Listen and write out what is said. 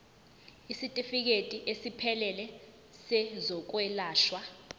isitifikedi esiphelele sezokwelashwa